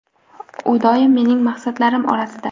U doim mening maqsadlarim orasida;.